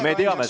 Me teame.